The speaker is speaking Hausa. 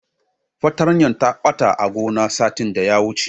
Fartanyar ta ɓata a gone satin daya wuce.